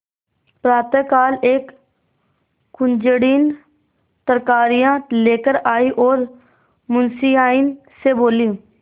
प्रातःकाल एक कुंजड़िन तरकारियॉँ लेकर आयी और मुंशियाइन से बोली